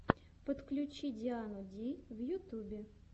подключи диану ди в ютюбе